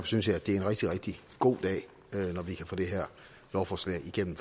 synes jeg at det er en rigtig rigtig god dag når vi kan få det her lovforslag igennem